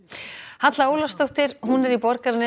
Halla Ólafsdóttir er í Borgarnesi